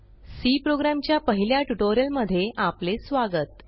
C program च्या पहिल्या ट्युटोरियलमध्ये आपले स्वागत